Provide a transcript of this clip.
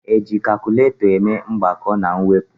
Eji kakụlatọ eme mgbakọ na mwepụ